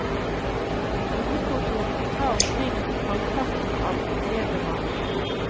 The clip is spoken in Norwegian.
Hovedkontoret må ta omkring halvparten av nedbemanningen.